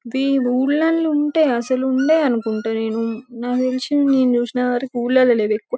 ఇవి ఊర్లల్లో ఉంటె అసలు ఉండే అనుకుంట నేను నాకు తెలిసింది నేను చూసిన వారకు ఊర్లలో లేవు ఎక్కువ.